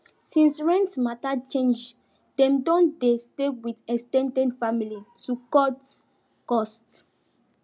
since rent matter change dem don dey stay with ex ten ded family to cut cost